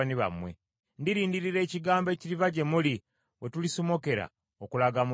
Ndirindirira ekigambo ekiriva gye muli, we tulisomokera okulaga mu ddungu.”